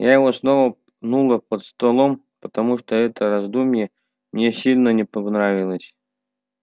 я его снова пнула под столом потому что это раздумье мне сильно не понравилось